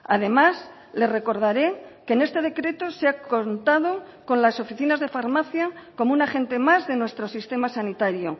además le recordaré que en este decreto se ha contado con las oficinas de farmacia como un agente más de nuestro sistema sanitario